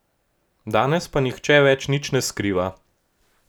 Danes pa nihče več nič ne skriva.